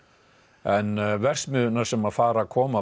en verksmiðjurnar sem fara að koma